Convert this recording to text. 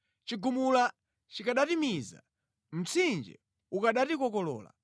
chigumula chikanatimiza, mtsinje ukanatikokolola,